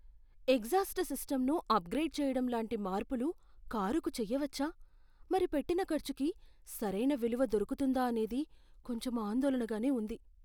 Exhaust సిస్టమ్ను upgrade చేయడం లాంటి మార్పులు కారుకు చేయవచ్చా? మరి పెట్టిన ఖర్చుకి సరైన విలువ దొరుకుతుందా అనేది కొంచెం ఆందోళనగానే ఉంది.